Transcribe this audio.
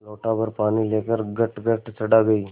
लोटाभर पानी लेकर गटगट चढ़ा गई